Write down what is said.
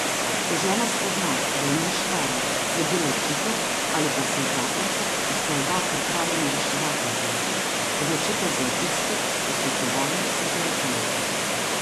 Ko žena spozna, da jo mož vara, sledi ločitev ali pa se zakonca, če sta oba pripravljena reševati zakon, odločita za obiske posvetovalnic in terapevtov.